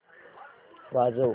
वाजव